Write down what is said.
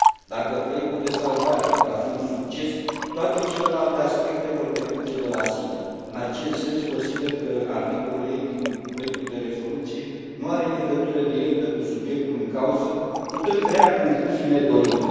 Dacă proiectul de salvare va fi un succes, toate celelalte aspecte vor decurge de la sine. În acest sens, consider că articolul e din proiectul de rezoluție nu are legătură directă cu subiectul în cauză, putând crea confuzii nedorite.